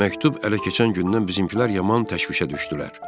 Məktub ələ keçən gündən bizimkilər yaman təşvişə düşdülər.